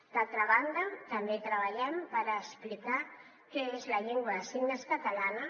d’altra banda també treballem per explicar què és la llengua de signes catalana